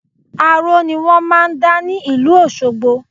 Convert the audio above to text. Aró ni wọ́n máà ń dá ní ìlú Òṣogbọ